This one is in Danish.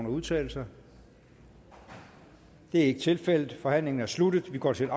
udtale sig det er ikke tilfældet forhandlingen er sluttet og vi går til